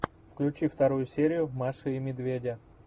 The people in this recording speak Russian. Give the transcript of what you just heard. включи вторую серию маши и медведя